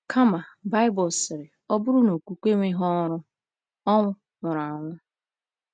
Kama, Baịbụl sịrị, ọ bụrụ na okwukwe enweghị ọrụ, ọ nwụrụ anwụ.